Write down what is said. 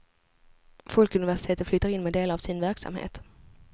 Folkuniversitet flyttar in med delar av sin verksamhet.